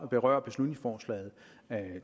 berører beslutningsforslaget